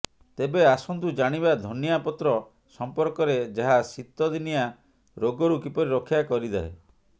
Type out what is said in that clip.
ତେବେ ଆସନ୍ତୁ ଜାଣିବା ଧନିଆ ପତ୍ର ସମ୍ପର୍କରେ ଯାହା ଶୀତ ଦିନିଆ ରୋଗରୁ କିପରି ରକ୍ଷା କରିଥାଏ